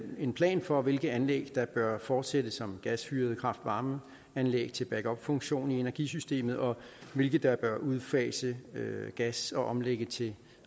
en plan for hvilke anlæg der bør fortsætte som gasfyrede kraft varme anlæg til back up funktion i energisystemet og hvilke der bør udfase gas og omlægge til